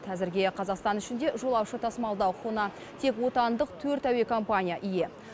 әзірге қазақстан ішінде жолаушы тасымалдау құқығына тек отандық төрт әуе компания ие